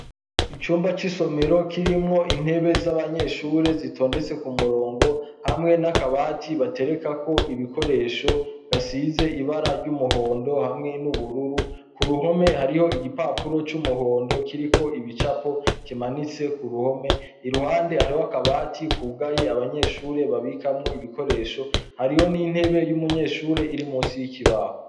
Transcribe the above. Icumba c'isomero kirimwo intebe z'abanyeshure zitondetse ku murongo hamwe n'akabati batereka ko ibikoresho gasize ibara ry'umuhondo hamwe n'ubururu ku ruhome hariho igipapuro c'umuhondo kiriko ibicapo kimanitse ku ruhome i ruhande hariho akabati kugaye abanyehure shure babikamwo ibikoresho hariho n'intebe y'umunyeshure iri musi y'ikibahu.